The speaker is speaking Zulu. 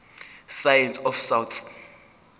science of south